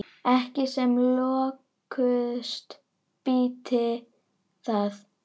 Ekki sem lökust býti það.